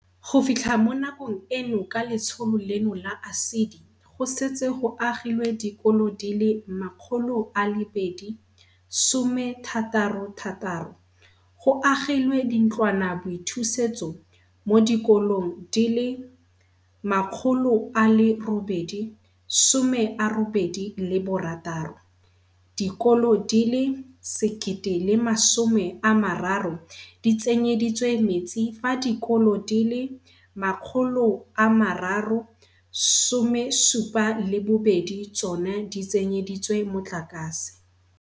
Go fitlha mo nakong eno ka letsholo leno la ASIDI go setse go agilwe dikolo di le 266, go agilwe dintlwanaboithusetso mo dikolong di le 886, dikolo di le 1 030 di tsenyeditswe metsi fa dikolo di le 372 tsona di tsenyeditswe motlakase.